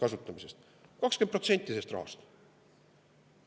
20% sellest rahast!